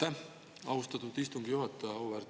Aitäh, austatud istungi juhataja!